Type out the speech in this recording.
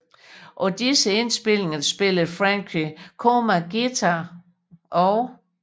På disse indspilninger spillede Franché Coma guitar og Mr